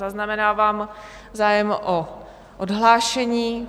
Zaznamenávám zájem o odhlášení.